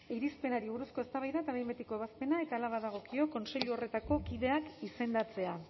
irizpenari buruzko eztabaida eta behin betiko ebazpena eta hala badagokio kontseilu horretako kideak izendatzea